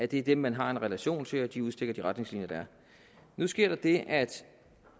det er dem man har en relation til og de udstikker de retningslinjer der er nu sker der det at